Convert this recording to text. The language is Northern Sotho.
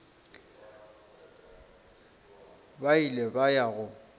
ba ile ba ya go